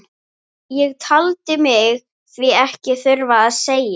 Ég taldi mig því ekkert þurfa að segja